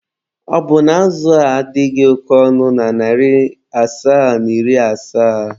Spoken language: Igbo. Ọ bụna azụ a adịghị oke ọnụ na narị asaa na iri asaa?